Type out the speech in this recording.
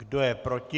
Kdo je proti?